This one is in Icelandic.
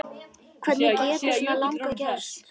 Hvernig getur svona lagað gerst?